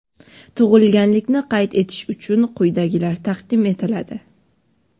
Tug‘ilganlikni qayd etish uchun quyidagilar taqdim etiladi:.